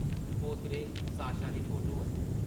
पोतरे Sasha दी photo ऐ ।